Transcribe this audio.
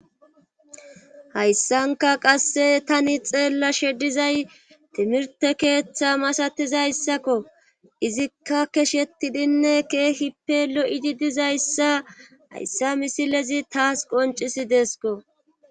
hayssanka qasse tani xeella she dizay timirte keeththa masatizayssakko izikka keshettidinne keehippe lo7idi dizayssa hayssa misilezi taas qoncisidesko